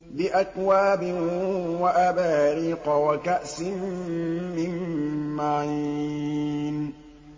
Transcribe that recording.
بِأَكْوَابٍ وَأَبَارِيقَ وَكَأْسٍ مِّن مَّعِينٍ